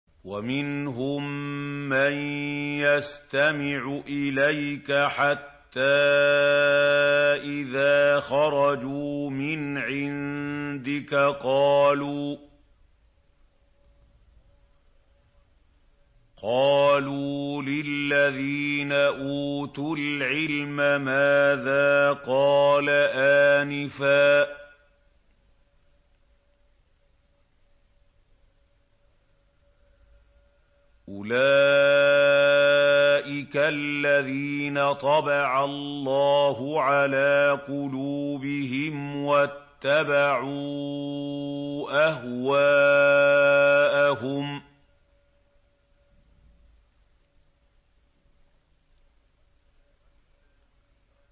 وَمِنْهُم مَّن يَسْتَمِعُ إِلَيْكَ حَتَّىٰ إِذَا خَرَجُوا مِنْ عِندِكَ قَالُوا لِلَّذِينَ أُوتُوا الْعِلْمَ مَاذَا قَالَ آنِفًا ۚ أُولَٰئِكَ الَّذِينَ طَبَعَ اللَّهُ عَلَىٰ قُلُوبِهِمْ وَاتَّبَعُوا أَهْوَاءَهُمْ